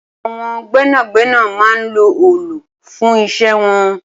Awọn gbẹnágbẹná mà n ló òòlú fùn iṣẹ̀ wọn